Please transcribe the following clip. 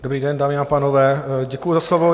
Dobrý den, dámy a pánové, děkuji za slovo.